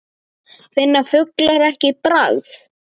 Finna fuglar ekki bragð?